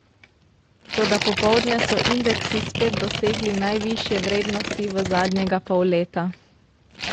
Toda popoldne so indeksi spet dosegli najvišje vrednosti v zadnjega pol leta.